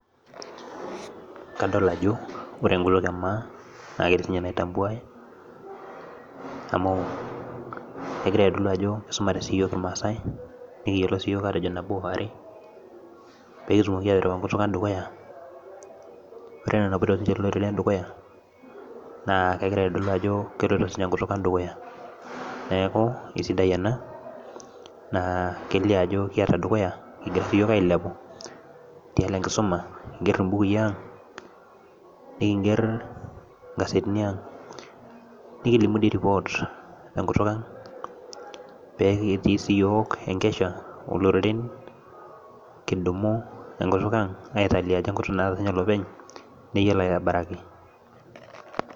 Kadol ajo ore enkutuk ee maa naaketii sininye naitambuaye amu kegira aitodol ajo kisumatee sii yiook irmaasaai nikiyiolo sii yiook atejo nabo, are, piikitumoki aiteru enkutuk ang dukuyaa, ore ena enapoito sininche kulo oreren dukuyaa naa kegira aitodol ajo keloito sininye enkutuk ang dukuyaa, neeku kisidai ena kelio ajo kiaata dukuyaa kigiraa ailepu, keyiolo enkisuma , kiigerr ibukui aang, nikigerr nkazetini aang, nikilimu doi report te nkutuk ang pee litii siiyiook enkesha oo loreten , kidumu enkutuk ang aitodolu ajo keeta sininye lopeny, neyiolo aitobirrari.